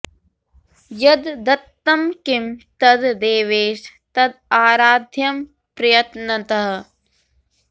यद् दत्तं किं तद् देवेश तद् आराध्यं प्रयत्नतः